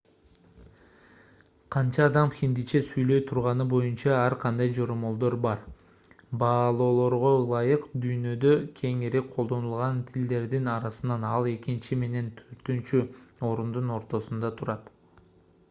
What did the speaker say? канча адам хиндиче сүйлөй турганы боюнча ар кандай жоромолдор бар баалоолорго ылайык дүйнөдө кеңири колдонулган тилдердин арасынан ал экинчи менен төртүнчү орундун ортосунда турат